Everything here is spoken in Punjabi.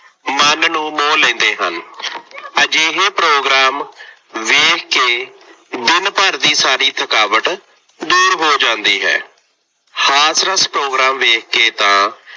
ਮਨ ਨੂੰ ਮੋਹ ਲੈਂਦੇ ਹਨ। ਅਜਿਹੇ ਪ੍ਰੋਗਰਾਮ ਵੇਖ ਕੇ ਦਿਨ ਭਰ ਦੀ ਸਾਰੀ ਥਕਾਵਟ ਦੂਰ ਹੋ ਜਾਦੀ ਹੈ। ਹਾਸਰਸ ਪ੍ਰੋਗਰਾਮ ਵੇਖ ਕੇ ਤਾਂ